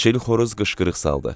Çil xoruz qışqırıq saldı.